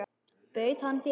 Bauð hann þér?